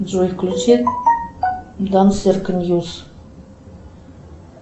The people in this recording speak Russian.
джой включи дан серко ньюс